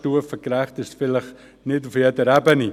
Stufengerecht ist es vielleicht nicht auf jeder Ebene.